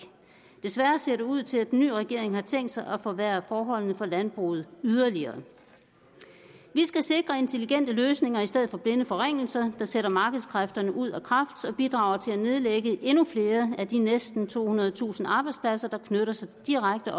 desværre ser det ud til at den nye regering har tænkt sig at forværre forholdene for landbruget yderligere vi skal sikre intelligente løsninger i stedet for blinde forringelser der sætter markedskræfterne ud af kraft og bidrager til at nedlægge endnu flere af de næsten tohundredetusind arbejdspladser der knytter sig direkte